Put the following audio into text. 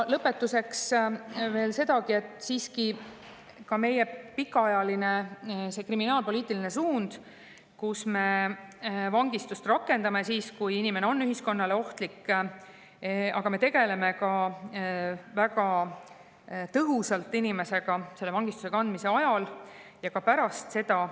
Lõpetuseks veel sedagi, et meie pikaajaline suund kriminaalpoliitikas on siiski see, et me vangistust rakendame siis, kui inimene on ühiskonnale ohtlik, ja me tegeleme väga tõhusalt inimesega vangistuse ajal ja ka pärast seda.